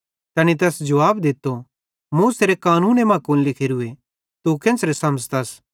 तैनी तैस जुवाब दित्तो मूसेरे कानूने मां कुन लिखोरूए तू केन्च़रे समझ़तस